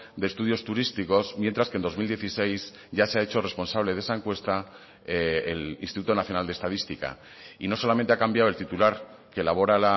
de estudios turísticos mientras que en dos mil dieciséis ya se ha hecho responsable de esa encuesta el instituto nacional de estadística y no solamente ha cambiado el titular que elabora